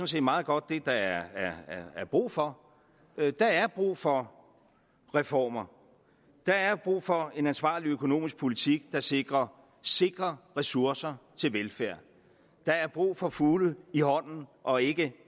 set meget godt det der er brug for der er brug for reformer der er brug for en ansvarlig økonomisk politik der sikrer sikre ressourcer til velfærd der er brug for fugle i hånden og ikke